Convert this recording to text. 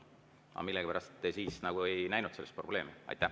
Aga millegipärast te siis nagu ei näinud selles probleemi.